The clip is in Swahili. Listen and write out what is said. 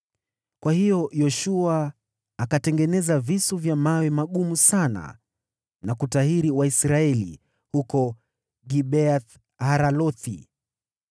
Kwa hiyo Yoshua akatengeneza visu vya mawe magumu sana na kutahiri Waisraeli huko Gibeath-Haaralothi.